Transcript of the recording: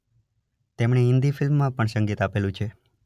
તેમણે હિન્દી ફિલ્મમા પણ સંગીત આપેલુ છે.